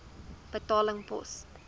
betaling pos